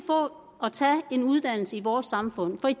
at tage en uddannelse i vores samfund for i